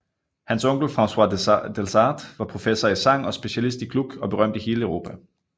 Hans onkel Francois Delsarte var professor i sang og specialist i Gluck og berømt i hele Europa